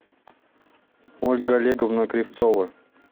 ольга олеговна кривцова